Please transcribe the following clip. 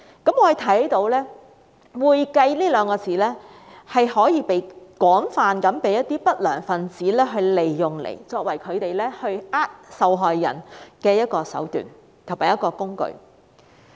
我們看到"會計"這兩個字被一些不良分子廣泛利用，作為他們欺騙受害人的一種手段和工具。